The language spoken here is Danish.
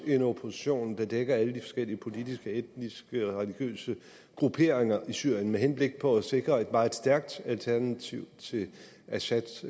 en opposition der dækker alle de forskellige politiske etniske og religiøse grupperinger i syrien med henblik på at sikre et meget stærkt alternativ til assads